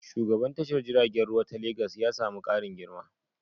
Shugaban tashar jiragen ruwa ta Legan ya sami ƙarin girma.